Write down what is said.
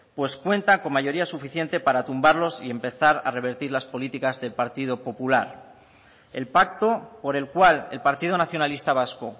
pues cuenta con mayoría suficiente para tumbarlos y empezar a revertir las políticas del partido popular el pacto por el cual el partido nacionalista vasco